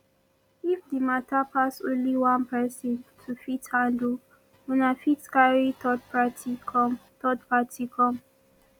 if di matter pass only one person to fit handle una fit carry third party come third party come